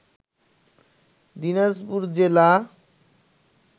দিনাজপুর জেলা